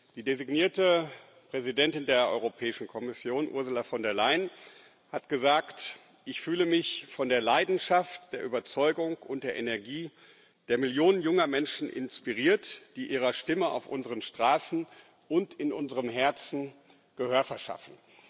Die designierte Präsidentin der Europäischen Kommission, Ursula von der Leyen, hat gesagt Ich fühle mich von der Leidenschaft, der Überzeugung und der Energie der Millionen junger Menschen inspiriert, die ihrer Stimme auf unseren Straßen und in unserem Herzen Gehör verschaffen.